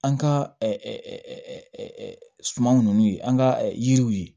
An ka sumanw n'u ye an ka yiriw ye